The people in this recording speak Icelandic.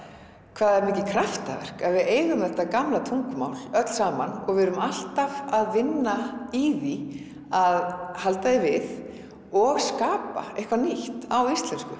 hvað það er mikið kraftaverk að við eigum þetta gamla tungumál öll saman og við erum alltaf að vinna í því að halda því við og skapa eitthvað nýtt á íslensku